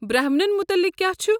برہمنن متعلق کیٛاہ چھُ؟